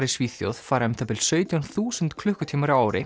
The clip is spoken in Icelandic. í Svíþjóð fara um það bil sautján þúsund klukkutímar á ári